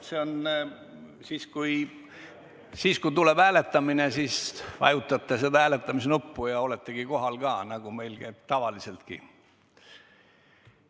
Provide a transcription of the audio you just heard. See on nii, et kui tuleb hääletamine, vajutate seda hääletamise nuppu, ja oletegi kohal, nagu meil tavaliseltki käib.